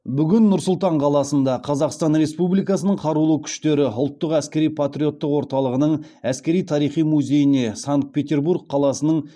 бүгін нұр сұлтан қаласында қазақстан республикасының қарулы күштері ұлттық әскери патриоттық орталығының әскери тарихи музейіне санкт петербург қаласының